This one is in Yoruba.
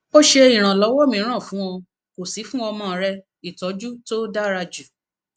o ṣe iranlọwọ miran fun ọ ko si fun omo re itoju to dara ju